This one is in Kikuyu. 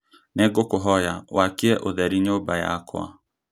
nĩ ngũkũhoya wakie ũtheri nyũmba yakwa.